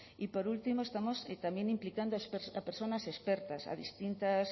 y por último estamos también implicando a personas expertas a distintas